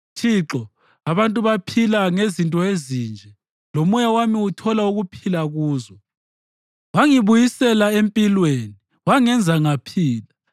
Thixo, abantu baphila ngezinto ezinje; lomoya wami uthola ukuphila kuzo. Wangibuyisela empilweni wangenza ngaphila.